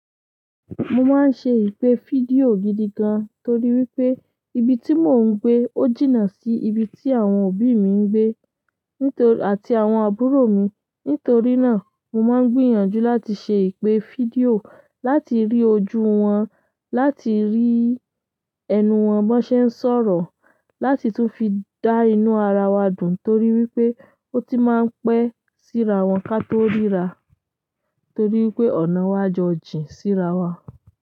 Mo máa ń ṣe ìpè fídíò gidi gan-an torí wípé ibi tí mò ń gbé ó jìnnà sí ibi tí àwọn òbí mi ń gbé. Nítorí àti àwọn àbúrò mi. Nítorí na, mo ma n gbìyànjú láti se ipe fídíò láti ri ojú won, láti ri torí wípé ọ̀nà wa jọ jìn síra wa.